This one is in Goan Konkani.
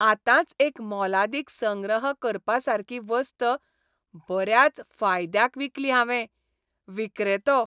आतांच एक मोलादीक संग्रह करपासारकी वस्त बऱ्याच फायदयाक विकली हांवें. विक्रेतो